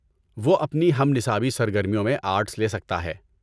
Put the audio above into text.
وہ اپنی ہم نصابی سرگرمیوں میں آرٹس لے سکتا ہے۔